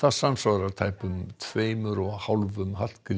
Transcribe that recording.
samsvarar tæpum tveimur og hálfum